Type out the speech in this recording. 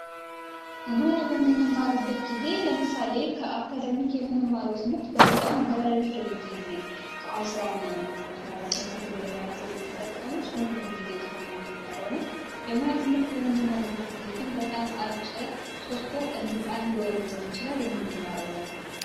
የሙያ ትምህርት በምንማርበት ጊዜ ለምሳሌ ከአካዳሚክ የምንማረው ትምህርት በጣም ረጅም ጊዜ አስራ ምናምን ዓመት ማለት ነው ዲግሪ ለመያዝ የምንጠቀመው እሱን የምንማረው ነው። የሙያ ትምህርት በምንማርበት ጊዜ ግን በጣም አጭር ሶስት ወር እንዲሁም አንድ ወር ሊሆን ይችላል የምንማረው ነው።